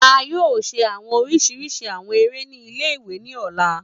A yoo ṣe awọn oriṣiriṣi awọn ere ni ile-iwe ni ọla.